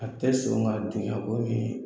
A tɛ sɔn o ma, a don ka bɔ ni